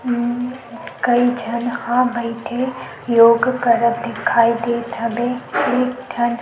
कई झन ह बईथे योग करत दिखाई देत हे।